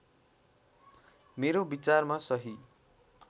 मेरो विचारमा सही